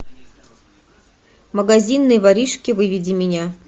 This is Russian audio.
магазинные воришки выведи меня